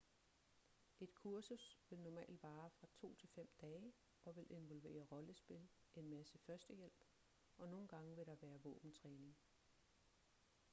et kursus vil normalt vare fra 2-5 dage og vil involvere rollespil en masse førstehjælp og nogle gange vil der være våbentræning